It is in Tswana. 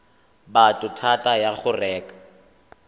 motho thata ya go reka